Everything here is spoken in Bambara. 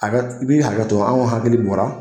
Hakɛ I bɛ hakɛtɔ anw hakili bɔra